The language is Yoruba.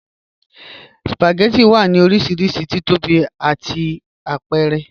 Spagẹttì wà ní orísírísí tíìtọ́bí àti àpẹ̀rẹ̀.